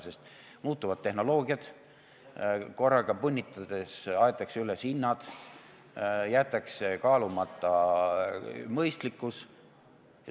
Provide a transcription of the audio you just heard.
Sest tehnoloogia muutub, korraga punnitades aetakse üles hinnad, jäetakse kaalumata mõistlikkus.